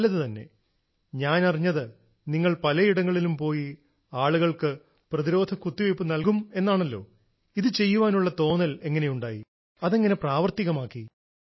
നല്ലത് തന്നെ ഞാനറിഞ്ഞത് നിങ്ങൾ പലയിടത്തും പോയി ആളുകൾക്ക് പ്രതിരോധ കുത്തിവയ്പ്പ് നൽകുമെന്നാണല്ലോ ഇത് ചെയ്യാനുള്ള തോന്നൽ എങ്ങനെയുണ്ടായി അതെങ്ങനെ പ്രാവർത്തികമാക്കി